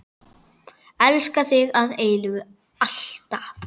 Elska þig að eilífu, alltaf.